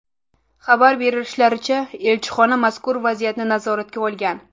Xabar berishlaricha, elchixona mazkur vaziyatni nazoratga olgan.